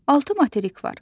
Altı materik var: